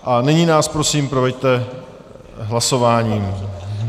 A nyní nás prosím proveďte hlasováním.